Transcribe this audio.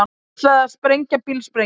Ætlaði að sprengja bílsprengju